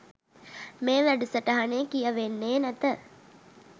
මේ වැඩසටහනේ කියවෙන්නේ නැත.